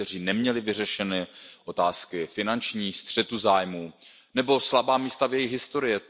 Ti, kteří neměli vyřešeny otázky finanční, střetu zájmů nebo měli slabá místa v jejich historii.